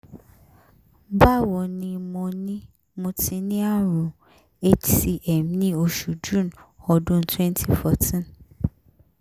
bawo nì mo nì mo ti ní àrùn hcm ní oṣù june ọdún 2014